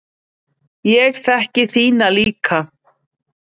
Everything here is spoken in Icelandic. Ég þekki þína líka.